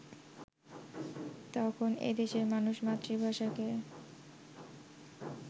তখন এ দেশের মানুষ মাতৃভাষাকে